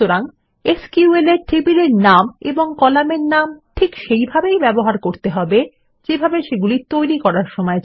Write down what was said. সুতরাং এসকিউএল এ টেবিলের নাম এবং কলামের নাম ঠিক সেইভাবেই ব্যবহার করতে হবে যেভাবে সেগুলি তৈরী করা হয়েছিল